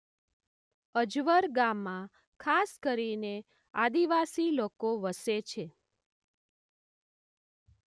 અજવર ગામમાં ખાસ કરીને આદિવાસી લોકો વસે છે.